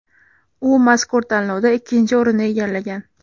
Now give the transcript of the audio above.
U mazkur tanlovda ikkinchi o‘rinni egallagan.